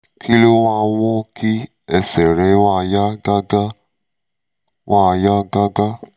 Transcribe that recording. kí ló máa ń mú kí ẹsẹ̀ rẹ máa yá gágá? máa yá gágá?